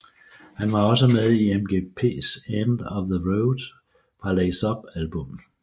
Han var også med i MGKs End of the Road fra Lace Up albummet